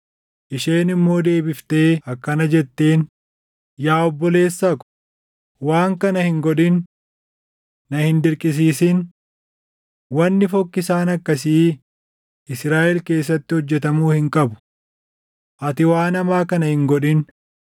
Isheen immoo deebiftee akkana jetteen; “Yaa obboleessa ko, waan kana hin godhin! Na hin dirqisiisin. Wanni fokkisaan akkasii Israaʼel keessatti hojjetamuu hin qabu! Ati waan hamaa kana hin godhin.